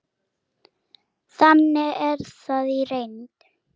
Þannig er það í reynd.